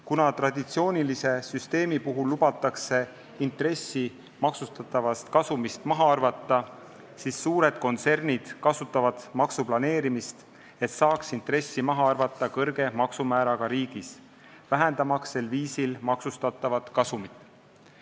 Kuna traditsioonilise süsteemi puhul lubatakse intressi maksustatavast kasumist maha arvata, siis suured kontsernid kasutavad maksuplaneerimist, et saaks intressi maha arvata kõrge määraga riigis, vähendamaks sel viisil maksustatavat kasumit.